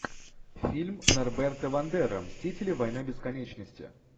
фильм норберта вандера мстители война бесконечности